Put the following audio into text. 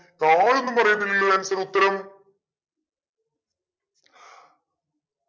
no എന്നും പറയുന്നില്ലേ answer ഉത്തരം